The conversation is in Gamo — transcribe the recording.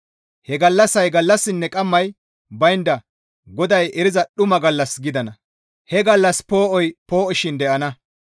He gallassay gallassinne qammay baynda GODAY eriza dumma gallas gidana; he gallassi poo7oy poo7oshin de7ana.